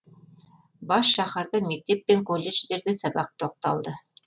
бас шаһарда мектеп пен колледждерде сабақ тоқталды